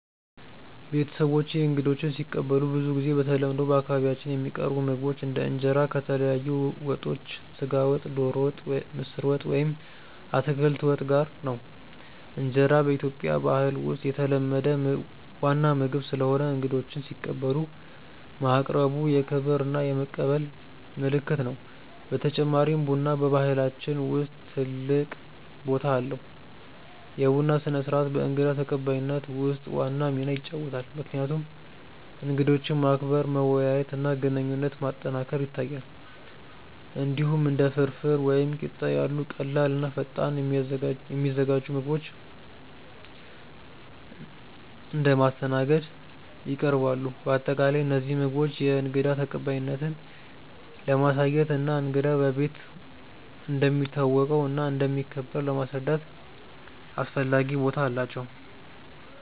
ቤተሰቦቼ እንግዶችን ሲቀበሉ ብዙ ጊዜ በተለምዶ በአካባቢያችን የሚቀርቡ ምግቦች እንደ እንጀራ ከተለያዩ ወጦች (ስጋ ወጥ፣ ዶሮ ወጥ፣ ምስር ወጥ ወይም አትክልት ወጥ) ጋር ነው። እንጀራ በኢትዮጵያ ባህል ውስጥ የተለመደ ዋና ምግብ ስለሆነ እንግዶችን ሲቀበሉ ማቅረቡ የክብር እና የመቀበል ምልክት ነው። በተጨማሪም ቡና በባህላችን ውስጥ ትልቅ ቦታ አለው፤ የቡና ስነ-ስርዓት በእንግዳ ተቀባይነት ውስጥ ዋና ሚና ይጫወታል፣ ምክንያቱም እንግዶችን ማክበር፣ መወያየት እና ግንኙነት ማጠናከር ያሳያል። እንዲሁም እንደ ፍርፍር ወይም ቂጣ ያሉ ቀላል እና ፈጣን የሚዘጋጁ ምግቦች እንደ ማስተናገድ ይቀርባሉ። በአጠቃላይ እነዚህ ምግቦች የእንግዳ ተቀባይነትን ለማሳየት እና እንግዳው በቤት እንደሚታወቀው እና እንደሚከበር ለማስረዳት አስፈላጊ ቦታ አላቸው።